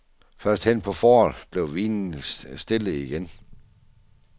Først hen på foråret blev vinen stille igen.